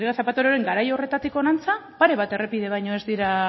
rodríguez zapateroren garai horretatik honantz pare bat errepide baino ez dira